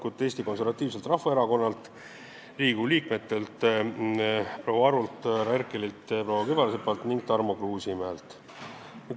Need olid Eesti Konservatiivse Rahvaerakonna fraktsioonilt ning Riigikogu liikmetelt proua Arult, härra Herkelilt, proua Kübarsepalt ja Tarmo Kruusimäelt.